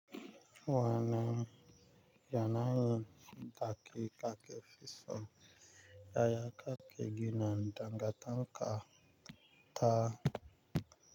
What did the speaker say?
Wanan yanayin daki, kake, fiso, yaya kake gina dangata ka ta.